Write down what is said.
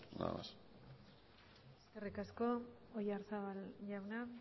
nada más eskerrik asko oyarzabal jauna